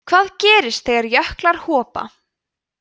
hvað gerist þegar jöklar hopa